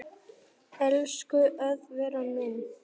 Elsku Eðvarð minn.